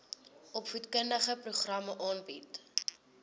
opvoedkundige programme aanbied